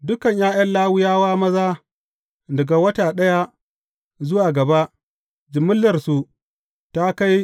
Dukan ’ya’yan Lawiyawa maza daga wata ɗaya zuwa gaba, jimillarsu ta kai